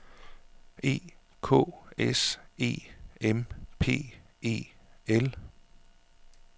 E K S E M P E L